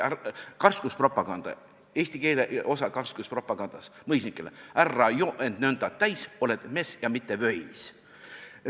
See oli karskuspropaganda, eesti keele osa karskuspropagandas mõisnikele: "Ärra joo end nönda täis, oled mees ja mitte vöis.